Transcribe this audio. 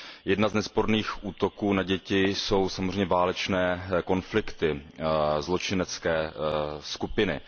Jeden z nesporných útoků na děti jsou samozřejmě válečné konflikty, zločinecké skupiny.